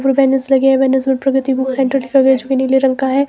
और बैनर्स लगे हुए है नीचे प्रगति बुक लिखा गया है जो की नीले रंग का है।